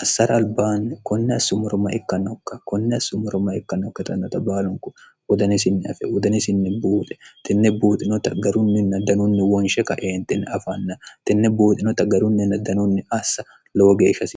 assara albaanni konni assumoro ma ikkannokka konni assummoro ma ikkannookka tannota baalunku wodanesinni afe wodanesinni buuxe tenne buuxinota garunninna danunni wonshe kaeenxinni afanna tenne buuxinota garunninn danunni assa lowo ge ikase